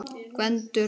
Gvendur og